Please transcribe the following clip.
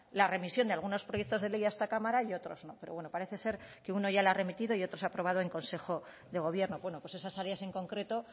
la remisión de algunos proyectos de ley a esta cámara y otros no pero bueno parece ser que uno ya lo ha remitido y otro se ha aprobado en consejo de gobierno bueno pues esas áreas en concreto